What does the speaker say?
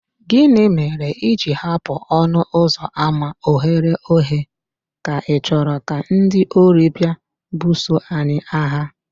Gịnị mere i ji hapụ ọnụ ụzọ ámá oghere oghe, ka ichoro ka ndị ori bịa buso anyị agha?